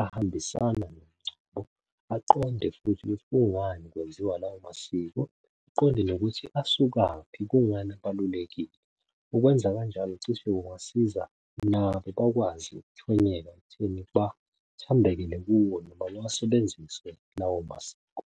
ahambisana nomngcwabo aqonde futhi kungani kwenziwa lawo masiko aqonde nokuthi usukaphi, kungani abalulekile. Ukwenza kanjalo cishe kungasiza nabo bakwazi ukuthonyela ekutheni bathembekele kuwo noma bawasebenzise lawo masiko.